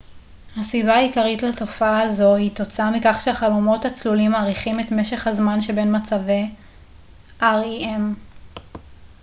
הסיבה העיקרית לתופעה זו היא תוצאה מכך שהחלומות הצלולים מאריכים את משך הזמן שבין מצבי rem